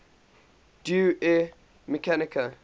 deus ex machina